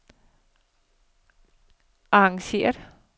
arrangeret